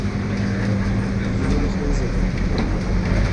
елена хлызова